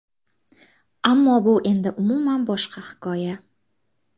Ammo bu endi umuman boshqa hikoya.